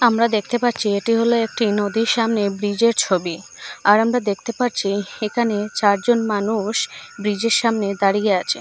আমরা দেখতে পাচ্ছি এটি হলো একটি নদীর সামনে ব্রিজের ছবি আর আমরা দেখতে পারছি একানে চারজন মানুষ ব্রিজের সামনে দাঁড়িয়ে আছে।